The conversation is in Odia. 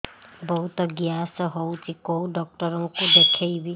ବହୁତ ଗ୍ୟାସ ହଉଛି କୋଉ ଡକ୍ଟର କୁ ଦେଖେଇବି